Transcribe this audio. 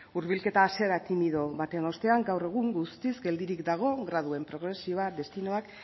hurbilketa hasiera timido baten ostean gaur egun guztiz geldirik dago graduen progresioa destinoak